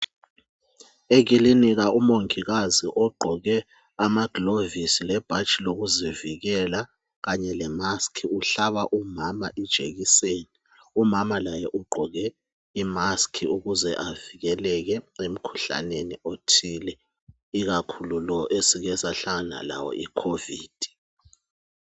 Ekilinika umongikazi ogqoke amagilovisi lebhatshi lokuzivikela kanye lemask umhlaba umama ijekiseni umama laye ugqoke imask ukuze avikeleke emkhuhlaneni othile ikakhulu lo esike sahlangana lawo icovid